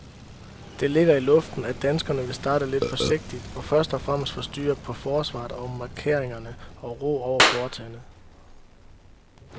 Det ligger i luften, at danskerne vil starte lidt forsigtigt og først og fremmest få styr på forsvaret og markeringerne og ro over foretagendet.